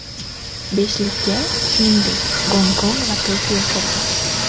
Beshlikka, shuningdek, Gonkong va Tokio kirdi.